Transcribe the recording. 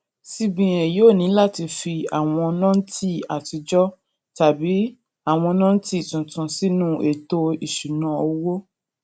cbn yóò ní láti fi àwọn nóǹtì àtijó tàbí àwọn nóǹtì tuntun sínú ètò ìṣúnná owó